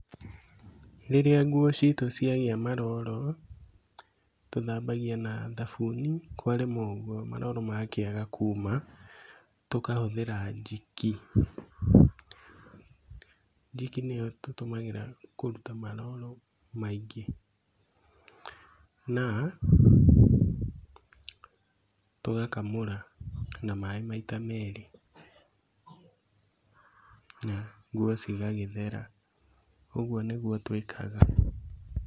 Rĩrĩa nguo citũ cĩagĩa maroro tũthambagia na thabuni kwarema ũguo maroro mangĩaga kuuma tũkahũthĩra njiki. Njiki nĩo tũtũmagĩra kũruta maroro maingĩ, na tũgakamũra na maĩ maita merĩ, na nguo cigagĩthera, ũguo nĩguo twĩkaga .